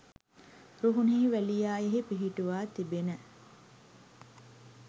රුහුණෙහි වැලියායෙහි පිහිටුවා තිබෙන